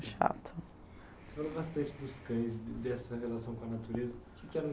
chato. Você falou bastante dos cães, dessa relação com a natureza, que que era o ?